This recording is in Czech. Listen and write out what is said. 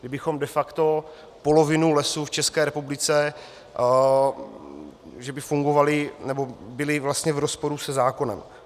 Kdybychom de facto polovinu lesů v České republice, že by fungovaly nebo byly vlastně v rozporu se zákonem.